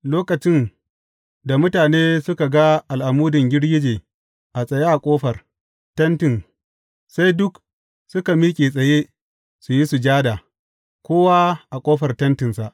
Lokacin da mutane suka ga al’amudin girgije a tsaye a ƙofar tentin, sai duk su miƙe tsaye su yi sujada, kowa a ƙofar tentinsa.